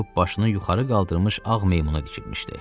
başını yuxarı qaldırmış ağ meymuna dikilmişdi.